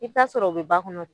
I bi taa sɔrɔ o be ba kɔnɔ.